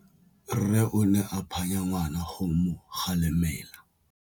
Rre o ne a phanya ngwana go mo galemela.